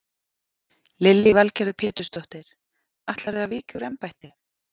Lillý Valgerður Pétursdóttir: Ætlarðu að víkja úr embætti?